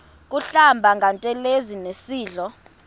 kuhlamba ngantelezi nasidlo